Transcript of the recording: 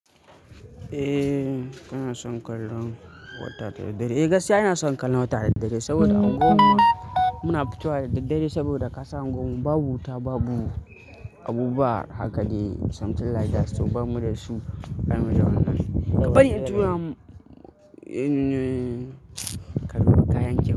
Eh kana son kallon wata da dare. Gaskiya ina son kallon wata da dare saboda a unguwarmu muna fito da daddare saboda ka san unguwar mu babu wuta, babu abubuwa haka ne, something like that. To bamu da su a cikin wajen nan. Ka bari in tura kaɗo da kayan ki.